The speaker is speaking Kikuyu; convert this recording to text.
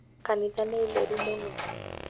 Kanitha nĩ theru mũno